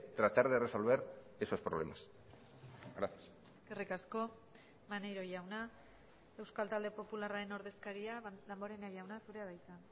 tratar de resolver esos problemas gracias eskerrik asko maneiro jauna euskal talde popularraren ordezkaria damborenea jauna zurea da hitza